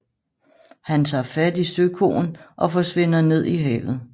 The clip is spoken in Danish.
Han tager fat i søkoen og forsvinder ned i havet